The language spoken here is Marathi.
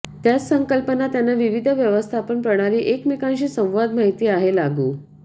त्याच संकल्पना त्यांना विविध व्यवस्थापन प्रणाली एकमेकांशी संवाद माहिती आहे लागू